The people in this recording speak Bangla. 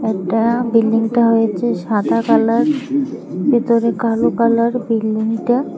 এটা বিল্ডিং টা হয়েছে সাদা কালার ভিতরে কালো কালার বিল্ডিং টা।